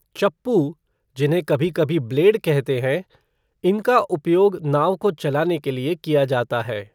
चप्पू, जिन्हें कभी कभी ब्लेड कहते हैं, इनका उपयोग नाव को चलाने के लिए किया जाता है।